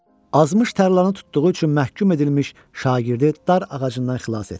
Azmış tərlanı tutduğu üçün məhkum edilmiş şagirdi dar ağacından xilas etdi.